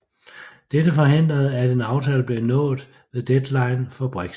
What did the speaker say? Dette forhindrede at en aftale blev nået ved deadline for Brexit